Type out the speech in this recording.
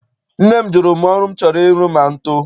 Nne m jụrụ m ọrụ m chọrọ ịrụ ma m too.